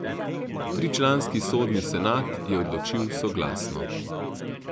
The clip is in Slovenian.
Tričlanski sodni senat je odločil soglasno.